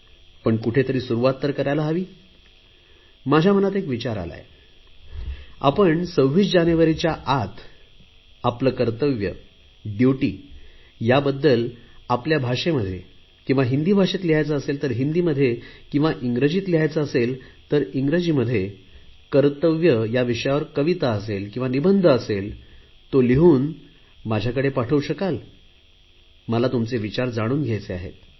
पण कुठेतरी सुरुवात करायला हवी माझ्या मनात एक विचार आलाय आपण 26 जानेवारीच्या आत आपले कर्तव्यडयूटी याबद्दल आपल्या मातृभाषेत किंवा हिंदीत किंवा इंग्रजीत लिहायचे असेल तर इंग्रजीत कर्तव्य या विषयावर कविता किंवा निबंध असेल तो लिहून माझ्याकडे पाठवू शकाल का मला तुमचे विचार जाणून घ्यायचे आहेत